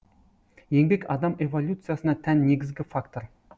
еңбек адам эволюциясына тән негізгі фактор